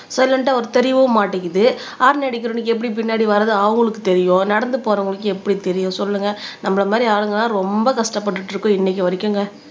சைலன்டா வரும் தெரியவும் மாட்டேங்குது ஹாரன் அடிக்கிறவனுக்கு எப்படி பின்னாடி வர்றது அவங்களுக்கு தெரியும் நடந்து போறவங்களுக்கு எப்படி தெரியும் சொல்லுங்க நம்மளை மாதிரி ஆளுங்கெல்லாம் ரொம்ப கஷ்டப்பட்டுட்டு இருக்கோம் இன்னைக்கு வரைக்குங்க